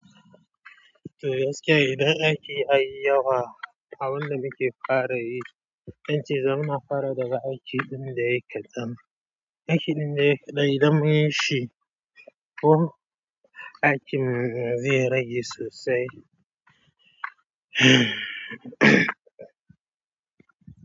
To gaskiya idan aiki a yi yawa, abin da muke fara yi, yanzu zan ma fara daga aikin ɗin da yake dam, aikin ɗin da yake ɗaya zan yi shi. Ohh aikin zai rage sosai.